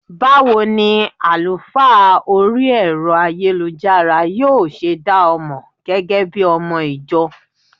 Báwo ni àlùfáà orí Ẹ̀rọ ayélujára yóò ṣe dá ọ mọ gẹ́gẹ́bí ọmọ - ìjọ?